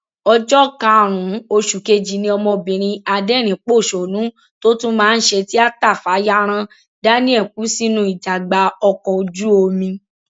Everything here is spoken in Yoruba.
ọjọ karùnún oṣù kejì ni ọmọbìnrin aderinínpọṣónú tó tún máa ń ṣe tíáta fayaran daniel kú sínú ìjàgbá ọkọ ojúomi